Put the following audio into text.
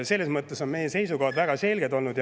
Selles mõttes on meie seisukohad väga selged olnud.